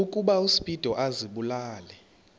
ukuba uspido azibulale